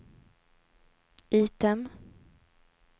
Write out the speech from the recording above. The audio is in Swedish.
item